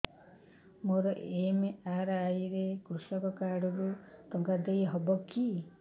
ମୋର ଏମ.ଆର.ଆଇ ରେ କୃଷକ କାର୍ଡ ରୁ ଟଙ୍କା ଦେଇ ହବ କି